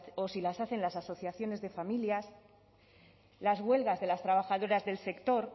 o si las hacen las asociaciones de familias las huelgas de las trabajadoras del sector